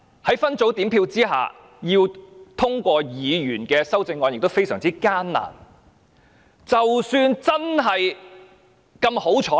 在分組點票下，要通過議員的修正案，是非常艱難的。